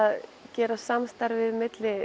gera samstarfið milli